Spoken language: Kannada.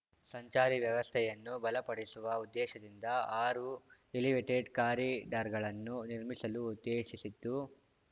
ಸಂಚಾರಿ ವ್ಯವಸ್ಥೆಯನ್ನು ಬಲಪಡಿಸುವ ಉದ್ದೇಶದಿಂದ ಆರು ಎಲಿವೇಟೆಡ್ ಕಾರಿಡಾರ್‌ಗಳನ್ನು ನಿರ್ಮಿಸಲು ಉದ್ದೇಶಿಸಿದ್ದು